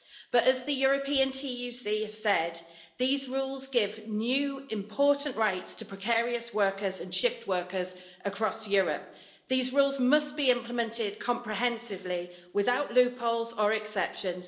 But, as the European TUC have said, these rules give new important rights to precarious workers and shift workers across Europe. These rules must be implemented comprehensively, without loopholes or exceptions.